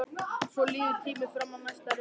Svo líður tíminn fram að næsta reikningi.